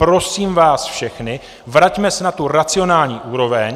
Prosím vás všechny, vraťme se na tu racionální úroveň.